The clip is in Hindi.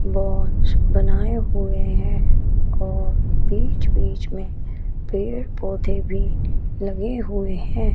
बोञ्च बनाए हुए हैं और बीच बीच में पेड़ पौधे भी लगे हुए हैं।